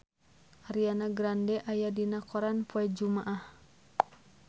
Ariana Grande aya dina koran poe Jumaah